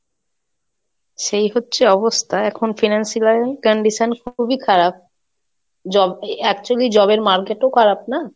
সেই হচ্ছে অবস্থা এখন Financial condition খুবই খারাপ, job actually job এর market ও খারাপ না?